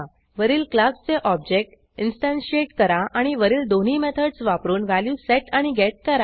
वरील क्लासचे object instantiate करा आणि वरील दोन्ही मेथडस वापरून व्हॅल्यू सेट आणि गेट करा